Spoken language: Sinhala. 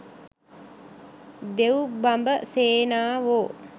දෙව් බඹ සේනාවෝ